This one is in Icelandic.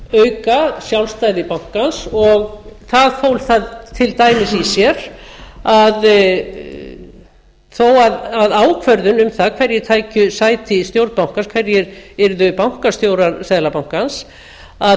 auka sjálfstæði bankans og það fól það til dæmis í sér að þó að ákvörðun um það hverjir færu sæti í stjórn bankans hverjir yrðu bankastjórar seðlabankans að